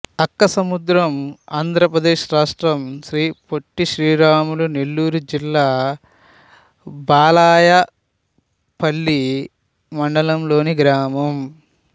అక్కసముద్రం ఆంధ్ర ప్రదేశ్ రాష్ట్రం శ్రీ పొట్టి శ్రీరాములు నెల్లూరు జిల్లా బాలాయపల్లి మండలంలోని గ్రామం